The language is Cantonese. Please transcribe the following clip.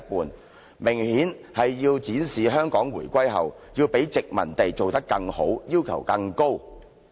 這明顯是要展示香港回歸後，要較殖民地做得更好，要求更高。